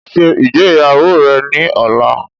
Ṣé ìgbéyàwó rẹ ni ọ̀la!